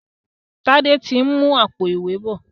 Tade tí ń mú Àpò-ìwé bọ